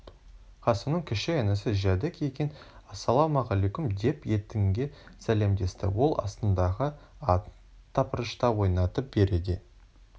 қасымның кіші інісі жәдік екен ассалаумағаликом деп ентіге сәлемдесті ол астындағы атын тыпыршыта ойнатып бәрі де